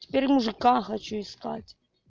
теперь мужика хочу искать